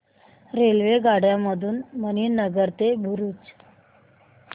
रेल्वेगाड्यां मधून मणीनगर ते भरुच